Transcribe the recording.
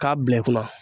K'a bila i kunna